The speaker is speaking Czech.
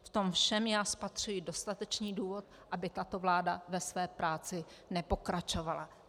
V tom všem já spatřuji dostatečný důvod, aby tato vláda ve své práci nepokračovala.